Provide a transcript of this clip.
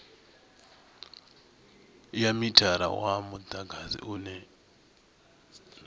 ya mithara wa mudagasi une